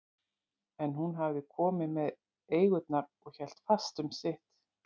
En hún hafði komið með eigurnar og hélt fast um sitt.